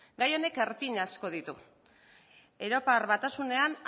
gai honek erpin asko ditu europar batasunean